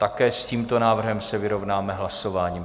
Také s tímto návrhem se vyrovnáme hlasováním.